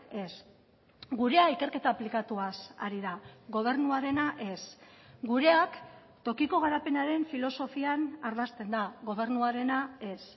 ez gurea ikerketa aplikatuaz ari da gobernuarena ez gureak tokiko garapenaren filosofian ardazten da gobernuarena ez